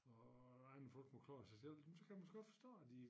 Og at andre folk må klare sig selv jamen så kan man godt forstå at de